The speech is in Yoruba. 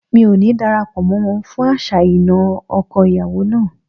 Mi ò ní dara pọ̀ mọ́ wọn fún àṣà ìnà ọkọ ìyàwó náà.